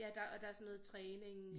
Ja der og der sådan noget træning